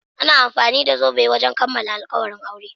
Ana amfani da zobe wajen kamalan alkawalin aure.